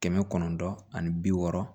Kɛmɛ kɔnɔntɔn ani bi wɔɔrɔ